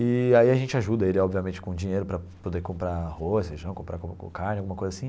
E aí a gente ajuda ele, obviamente, com dinheiro para poder comprar arroz, feijão, comprar carne, alguma coisa assim.